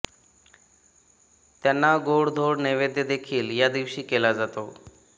त्यांना गोड धोड नैवेद्य देखील या दिवशी केला जातो